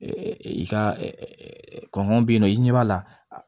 I ka kɔngɔ be yen nɔ i ɲɛ b'a la